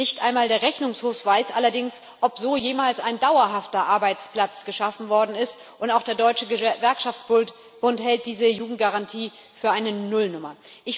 Nicht einmal der Rechnungshof weiß allerdings, ob so jemals ein dauerhafter Arbeitsplatz geschaffen worden ist, und auch der Deutsche Gewerkschaftsbund hält diese Jugendgarantie für eine Nullnummer.